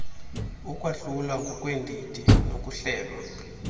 ukwahlulwa ngokweendidi nokuhlelwa